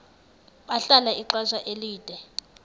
bahlala ixesha elide